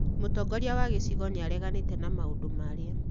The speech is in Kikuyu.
Mutongoria wa gĩcigo nĩ aareganite na maũndũ marĩa